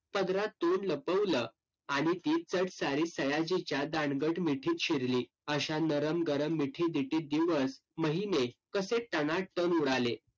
पदरातून लपवलं. आणि सयाजीच्या दांडगट मिठीत शिरली. अशा नरम गरम मिठी-दिठीत दिवस, महीने कसे टनाटण उडाले.